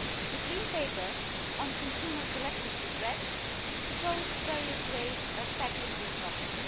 The green paper on consumer collective redress proposed various ways of tackling this problem.